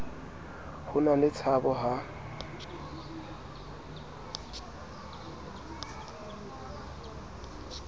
ho na le tshabo ha